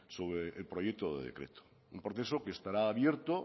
sobre el proyecto de decreto un proceso que estará abierto